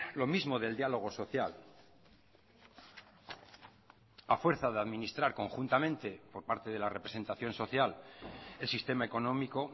lo mismo del diálogo social a fuerza de administrar conjuntamente por parte de la representación social el sistema económico